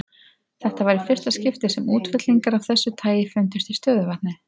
Þetta var í fyrsta skipti sem útfellingar af þessu tagi fundust í stöðuvatni.